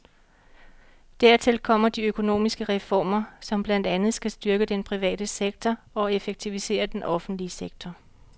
Dertil kommer de økonomiske reformer, som blandt andet skal styrke den private sektor og effektivisere den offentlige sektor.